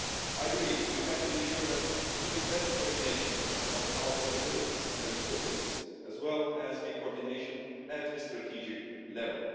I believe we have to ensure even better coordination of our capabilities and resources, as well as coordination at the strategic level.